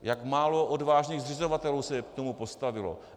Jak málo odvážných zřizovatelů se k tomu postavilo.